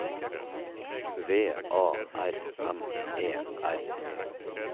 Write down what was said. V A R M E R E